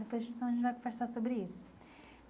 Depois então a gente vai conversar sobre isso.